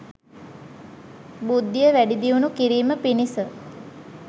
බුද්ධිය වැඩි දියුණු කිරීම පිණිස